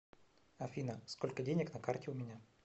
афина сколько денег на карте у меня